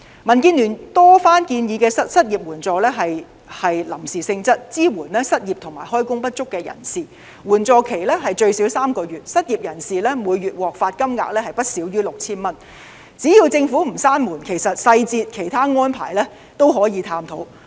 民建聯多番建議的失業援助是臨時性質，以支援失業和開工不足的人士，援助期最少3個月，失業人士每月可獲發金額不少於 6,000 元，只要政府不關上這道門，細節及其他安排也可以探討。